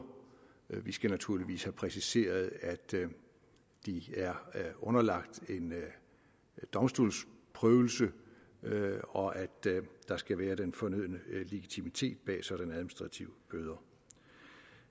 vi skal naturligvis have præciseret at de er underlagt en domstolsprøvelse og at der skal være den fornødne legitimitet bag sådanne administrative bøder